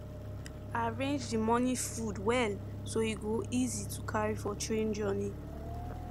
i arrange the morning food well so e go easy to carry for train journey